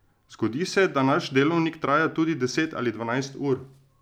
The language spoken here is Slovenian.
Zgodi se, da naš delovnik traja tudi deset ali dvanajst ur.